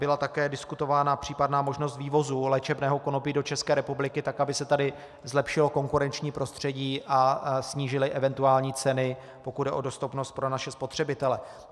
Byla také diskutována případná možnost vývozu léčebného konopí do České republiky tak, aby se tady zlepšilo konkurenční prostředí a snížily eventuální ceny, pokud jde o dostupnost pro naše spotřebitele.